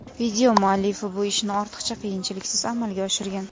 Video muallifi bu ishni ortiqcha qiyinchiliksiz amalga oshirgan.